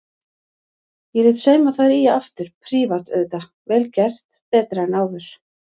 Ég lét sauma þær í aftur, prívat auðvitað, vel gert, betra en áður.